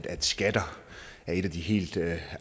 at skatter er en af de helt